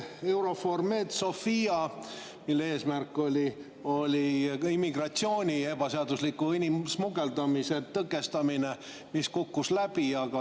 EUNAVFOR Med/Sophia eesmärk oli ebaseadusliku inimsmugeldamise tõkestamine, mis kukkus läbi.